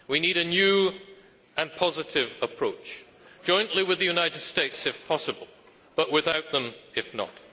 We need a new and positive approach, jointly with the United States, if possible, but without them if not.